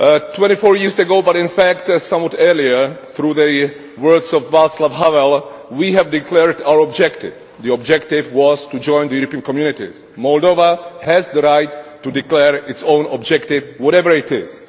Twenty four years ago but in fact somewhat earlier, through the words of Václav Havel we declared our objective the objective was to join the European Communities. Moldova has the right to declare its own objective, whatever it is.